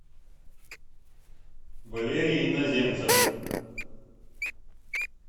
валерий иноземцев